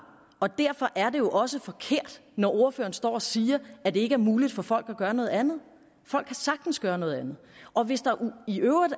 og derfor er det jo også forkert når ordføreren står og siger at det ikke er muligt for folk at gøre noget andet folk kan sagtens gøre noget andet og hvis der i øvrigt